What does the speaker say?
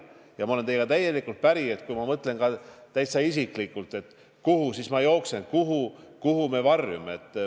Ja ma olen teiega täielikult päri, ma mõtlen ka täitsa isiklikult, et kuhu ma siis jooksen, kuhu me varjume.